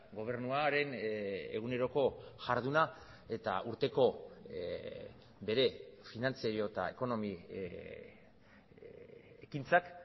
gobernuaren eguneroko jarduna eta urteko bere finantzario eta ekonomi ekintzak